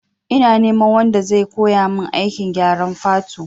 Ina neman wanda zai koya mun aikin gyaran fatu